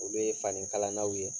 Olu ye fanikalannaw ye